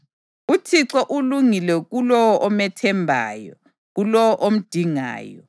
UThixo ulungile kulowo omethembayo, kulowo omdingayo;